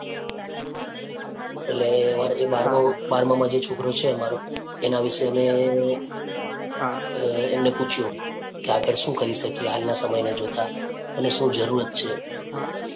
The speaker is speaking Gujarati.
એટલે અમારે જે બાળકો બારમા માં જે છોકરો છે અમારો એના વિશે અમે અ એમને પૂછ્યું કે આગળ શું કરી શકીએ હાલના સમય ને જોતાં એને શું જરૂરત છે.